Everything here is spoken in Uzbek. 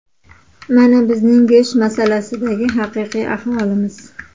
Mana bizning go‘sht masalasidagi haqiqiy ahvolimiz.